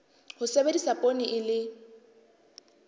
ho sebedisa poone e le